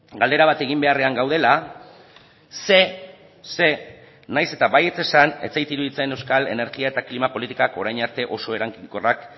galdera bat egin beharrean gaudela zeren eta nahiz eta baietz esan ez zait iruditzen euskal energia eta klima politikak orain arte oso eraginkorrak